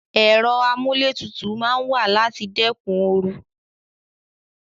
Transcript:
Ero amuletutu maa n wa lati dekun oru